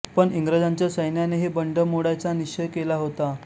पण इंग्रजांच्या सैन्यानेही बंड मोडायचा निश्चय केला होता